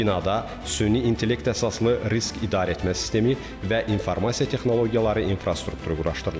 Binada süni intellekt əsaslı risk idarəetmə sistemi və informasiya texnologiyaları infrastrukturu quraşdırılıb.